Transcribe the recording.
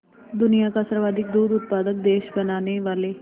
दुनिया का सर्वाधिक दूध उत्पादक देश बनाने वाले